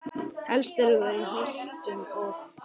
Helst eru þær í Holtum og